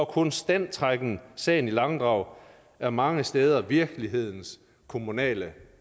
konstant trækken sagen i langdrag er mange steder virkelighedens kommunale